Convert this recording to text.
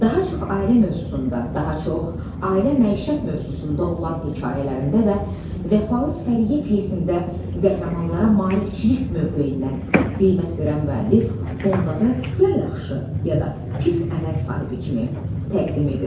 Daha çox ailə mövzusunda, daha çox ailə məişət mövzusunda olan hekayələrində və Vəfalı səriyə pyesində qəhrəmanlara maarifçilik mövqeyindən qiymət verən müəllif onları ya yaxşı, ya da pis əməl sahibi kimi təqdim edir.